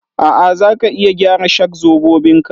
A'a, za ka iya gyara shak-zobobin ka